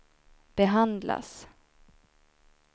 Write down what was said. behandlas